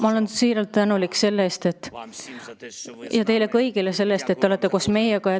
Ma olen siiralt tänulik teile kõigile selle eest, et te olete koos meiega.